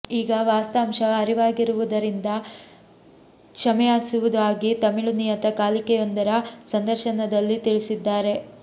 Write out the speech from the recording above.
ಈಗ ವಾಸ್ತಾಂಶ ಅರಿವಾಗಿರುವುದರಿಂದ ಕ್ಷಮೆಯಾಚಿಸುವುದಾಗಿ ತಮಿಳು ನಿಯತ ಕಾಲಿಕೆಯೊಂದರ ಸಂದರ್ಶನದಲ್ಲಿ ತಿಳಿಸಿದ್ದಾರೆ